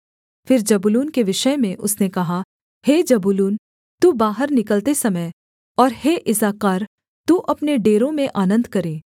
फिर जबूलून के विषय में उसने कहा हे जबूलून तू बाहर निकलते समय और हे इस्साकार तू अपने डेरों में आनन्द करे